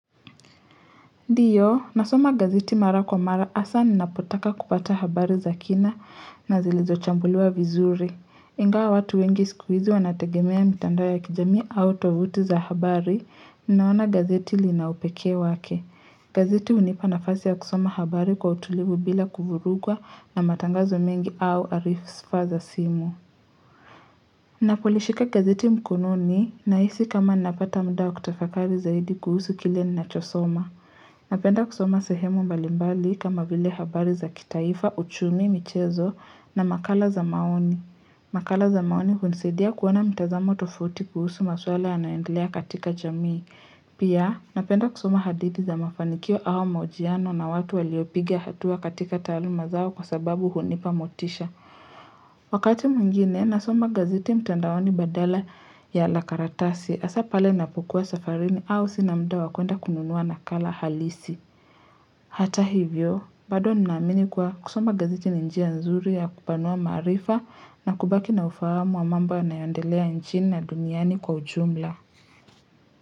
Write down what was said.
Ndio, nasoma gazeti mara kwa mara asa ninapotaka kupata habari za kina na zilizochambuluwa vizuri. Ingawa watu wengi siku hizi wanategemea mitandao ya kijamii, au tovuti za habari, ninaona gazeti linaupekee wake. Gazeti hunipa nafasi ya kusoma habari kwa utulivu bila kuvurugwa, na matangazo mengi au arifsa za simu. Napolishika gazeti mkononi, na hisi kama napata muda kutofakari zaidi kuhusu kile ninachosoma. Napenda kusoma sehemu mbalimbali kama vile habari za kitaifa, uchumi, michezo na makala za maoni. Makala za maoni hunisadia kuona mtazamo tofauti kuhusu maswala yanaendelea katika jamii. Pia, napenda kusoma hadithi za mafanikio au mahojiano na watu waliopiga hatua katika taaluma zao kwa sababu hunipamotisha. Wakati mwingine nasoma gazeti mtandaoni badala ya la karatasi asa pale napokua safarini au sina muda wakwenda kununuwa nakala halisi Hata hivyo, bado ninaamini kuwa kusoma gazeti ni njia nzuri ya kupanua maarifa na kubaki na ufahamu wa mambo yanayoendelea nchini na duniani kwa ujumla.